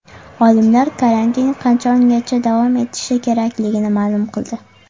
Olimlar karantin qachongacha davom etishi kerakligini ma’lum qildi.